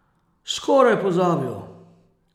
Skoraj pozabil.